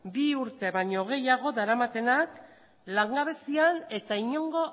bi urte baino gehiago daramatenak langabezian eta inongo